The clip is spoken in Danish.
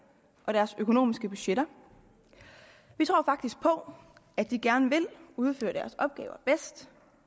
og deres økonomiske budgetter vi tror faktisk på at de gerne vil udføre deres opgaver bedst